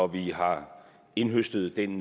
vi har indhøstet den